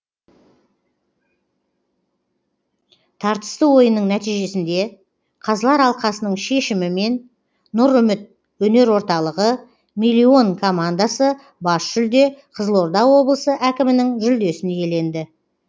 тартысты ойынның нәтижесінде қазылар алқасының шешімімен нұр үміт өнер орталығы миллион командасы бас жүлде қызылорда облысы әкімінің жүлдесін иеленді